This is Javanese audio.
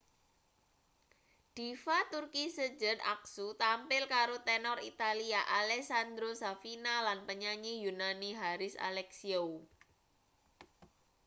diva turki sezen aksu tampil karo tenor italia alessandro safina lan penyanyi yunani haris alexiou